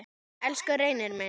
Elsku Reynir minn.